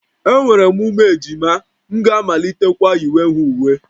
Enwere m ụmụ ejima, m ga-amalitekwa yiwe ha uwe